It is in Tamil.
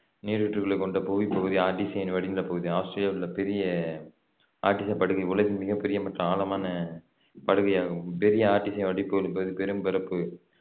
நீருற்றுள் கொண்ட புகை பகுதி ஆர்ட்டிசியன் வடிநிலப்பகுதி ஆஸ்திரேலியாவில் உள்ள பெரிய ஆர்ட்டிசியன் படுகை உலகின் மிகப் பெரிய மற்றும் ஆழமான படுகையாகவும் பெரிய ஆர்ட்டிசியன் வடிநிலப்பகுதி பெரும்பரப்பு